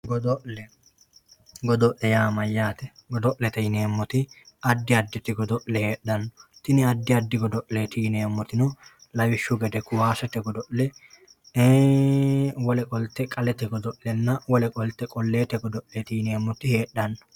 Godo'le godo'le yaa mayyaate? Godo'lete yineemmoti addi additi godo'le heedhanno tini addi addi godo'leeti yineemmotino lawishshaho kaasete godo'le qalete godo'lenna wole qolte qolleete godo'le heedhanno